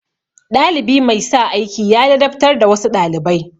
Ɗalibi mai sa aiki ya ladabtar da wasu ɗalibai.